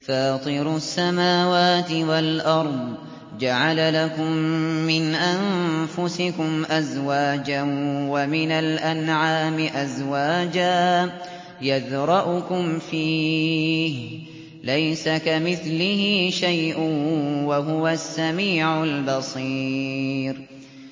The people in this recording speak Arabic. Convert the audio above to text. فَاطِرُ السَّمَاوَاتِ وَالْأَرْضِ ۚ جَعَلَ لَكُم مِّنْ أَنفُسِكُمْ أَزْوَاجًا وَمِنَ الْأَنْعَامِ أَزْوَاجًا ۖ يَذْرَؤُكُمْ فِيهِ ۚ لَيْسَ كَمِثْلِهِ شَيْءٌ ۖ وَهُوَ السَّمِيعُ الْبَصِيرُ